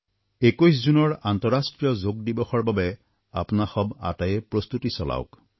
২১ জুনৰ আন্তঃৰাষ্ট্ৰীয় যোগদিৱসৰ বাবে আপোনাসৱ আটায়েই প্ৰস্তুতি চলাওক